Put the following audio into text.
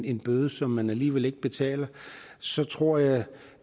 en bøde som han alligevel ikke betaler så tror jeg